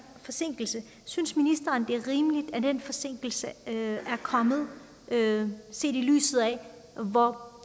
forsinkelse synes ministeren at det er rimeligt at den forsinkelse er kommet set i lyset af hvor